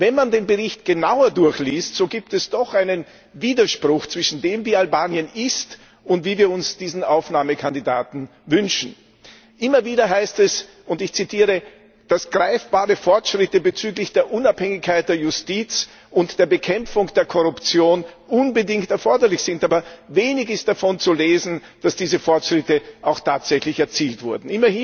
Aber wenn man den Bericht genauer durchliest, so gibt es doch einen Widerspruch zwischen dem, wie Albanien ist, und dem, wie wir uns diesen Aufnahmekandidaten wünschen. Immer wieder heißt es, dass greifbare Fortschritte bezüglich der Unabhängigkeit der Justiz und der Bekämpfung der Korruption unbedingt erforderlich sind, aber wenig ist davon zu lesen, dass diese Fortschritte auch tatsächlich erzielt wurden.